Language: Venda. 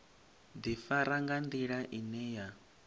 ḓifara nga nḓila ine ya